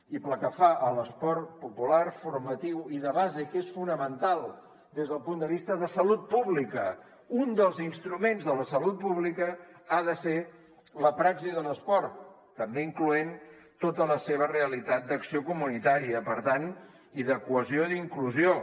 i pel que fa a l’esport popular formatiu i de base i que és fonamental des del punt de vista de salut pública un dels instruments de la salut pública ha de ser la praxi de l’esport també incloent hi tota la seva realitat d’acció comunitària i per tant de cohesió i d’inclusió